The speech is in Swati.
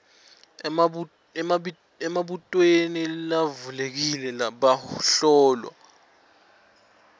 emibutweni levulekile bahlolwa